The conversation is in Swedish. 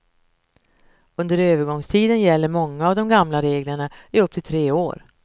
Under övergångstiden gäller många av de gamla reglerna i upp till tre år.